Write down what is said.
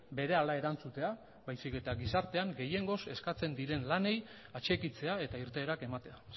berehala erantzutea baizik eta gizartean gehiengoz eskatzen diren lanei atxikitzea eta irteerak ematea